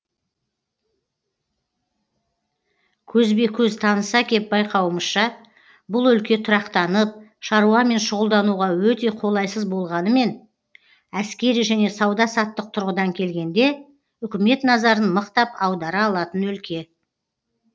көзбе көз таныса кеп байқауымызша бұл өлке тұрақтанып шаруамен шұғылдануға өте қолайсыз болғанымен әскери және сауда саттық тұрғыдан келгенде үкімет назарын мықтап аудара алатын өлке